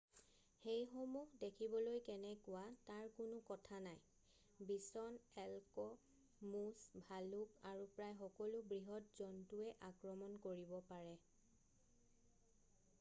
সেইসমূহ দেখিবলৈ কেনেকুৱা তাৰ কোনো কথা নাই বিছন এল্ক মুছ ভালুক আৰু প্ৰায় সকলো বৃহৎ জন্তুৱে আক্ৰমণ কৰিব পাৰে৷